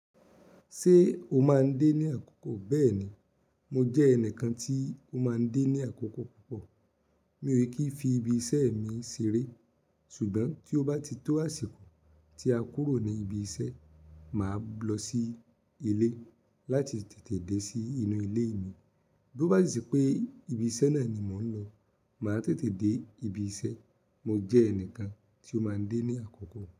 Ṣé o máa ń dé ní àkókò? Bẹ́ẹ̀ni, mo jẹ́ ẹnìkan tí ó máa ń dé ní àkókò púpọ̀. Mi ò kí ń fi ibi iṣẹ́ mi ṣeré ṣùgbọ́n tí ó bá ti tó àsìkò tí a kúrò ní ibi iṣẹ́, màá lọ sí ilé láti tètè dé sí inú ilé mi. Bí ó bá di sí pé ibi iṣẹ́ náà ni mò ń lọ, màá tètè dé ibi iṣẹ́. Mo jẹ́ ẹnìkan tí ó máa ń dé ní àkókò.